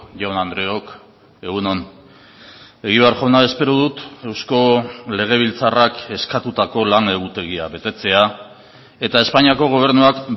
jaun andreok egun on egibar jauna espero dut eusko legebiltzarrak eskatutako lan egutegia betetzea eta espainiako gobernuak